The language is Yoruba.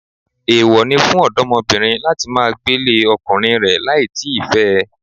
Èwo ni fún ọ̀dọ́mọbìnrin láti máa gbélé ọkùnrin rẹ láì tí ì fẹ́ ẹ